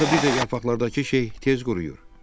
Axı bir də yarpaqlardakı şey tez quruyur.